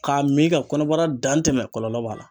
K'a min ka kɔnɔbara dantɛmɛ kɔlɔlɔ b'a la.